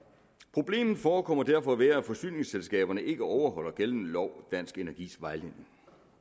problemet forekommer derfor at være at forsyningsselskaberne ikke overholder gældende lov og dansk energis vejledning